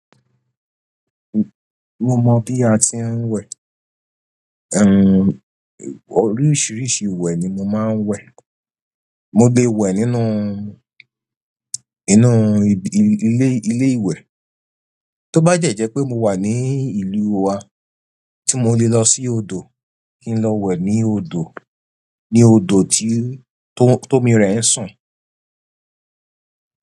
Mo mọ bí a ti ń wẹ̀. Ehn, oríṣiríṣi ìwẹ̀ ni mo máa ń wẹ̀. Mo lè wẹ̀ nínú, nínú ibi, ilé, ilé ìwẹ̀. Tó bá dẹ́ jẹ́ pé mo wà ní ìlú wa tí mo lè lọ sí odò, kí n lọ wẹ̀ ní odò, ní odò tí, tó, tómi rẹ̀ ń sàn.